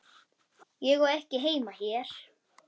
Ég á ekki heima hér.